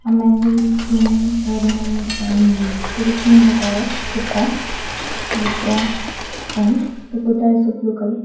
man can be seen wearing umm treditional kurta with the pant the kurta is blue colour.